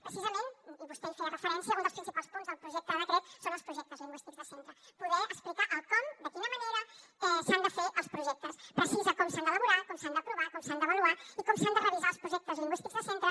precisament i vostè hi feia referència un dels principals punts del projecte de decret són els projectes lingüístics de centre poder explicar el com de quina manera s’han de fer els projectes precisa com s’han d’elaborar com s’han d’aprovar com s’han d’avaluar i com s’han de revisar els projectes lingüístics de centre